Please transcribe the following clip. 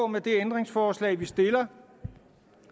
med det ændringsforslag vi stiller